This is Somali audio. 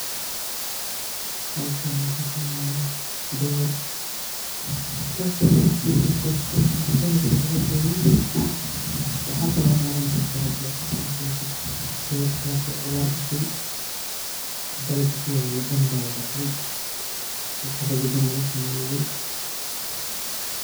Halkani waxaa ka muuqda beer. Taas oo ah mid la goostay ama dalageeda la gooyay. Waxaa kaloo u malaynkartaa hadii aad si ficaan u fiirisid, beertaas oo abaar gashay, dalaga ku yaalay dhan baabacay, cara gedin lagu sameeyay.